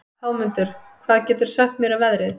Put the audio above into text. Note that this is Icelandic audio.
Hámundur, hvað geturðu sagt mér um veðrið?